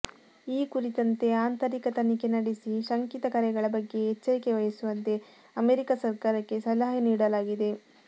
ಈ ಕುರಿತಂತೆ ಆಂತರಿಕ ತನಿಖೆ ನಡೆಸಿ ಶಂಕಿತ ಕರೆಗಳ ಬಗ್ಗೆ ಎಚ್ಚರಿಕೆ ವಹಿಸುವಂತೆ ಅಮೆರಿಕಾ ಸರ್ಕಾರಕ್ಕೆ ಸಲಹೆ ನೀಡಲಾಗಿದೆ